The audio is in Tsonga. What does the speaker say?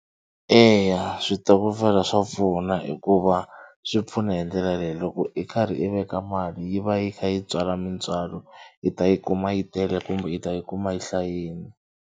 Eya switokofela swa pfuna hikuva swi pfuna hi ndlela leyi loko i karhi i veka mali yi va yi kha yi tswala mintswalo i ta yi kuma yi tele kumbe i ta yi kuma yi hlayini.